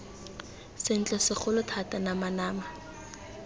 sentle segolo thata nama nama